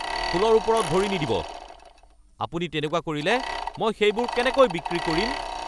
ফুলৰ ওপৰত ভৰি নিদিব! আপুনি তেনেকুৱা কৰিলে মই সেইবোৰ কেনেকৈ বিক্ৰী কৰিম!